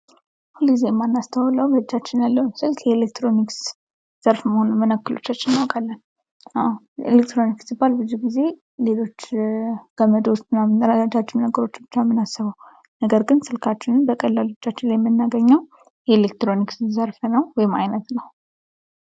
ሁልጊዜ የማናስተውለው በ እጃችን ያለውን ስልክ ከ ኤለክትሮኒክስ ዘርፍ መሆኑን ምን ያክሎቻችን እናውቃለን። አዎ ኤለክትሮኒክስ ሲባል ብዙ ጊዜ ሌሎች ገመዶች ምናምን ረጃጅም ነገሮች ብቻ ነው የምናስበው ነገርግን ስልካችንም በቀላሉ የምናገኘው የኤለክትሮኒክስ ዘርፍ ነው ወይም አይነት ነው።